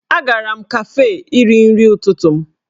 Agara m kafee iri nri ụtụtụ m